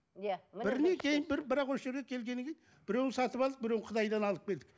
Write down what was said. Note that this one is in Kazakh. иә бірінен кейін бірі бірақ осы жерге келгеннен кейін біреуін сатып алдық біреуін қытайдан алып келдік